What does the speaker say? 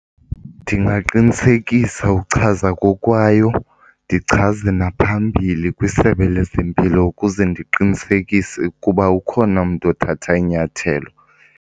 Ndingaqinisekisa uchaza kokwayo ndichaze naphambili kwiSebe lezeMpilo ukuze ndiqinisekise ukuba ukhona umntu othatha inyathelo.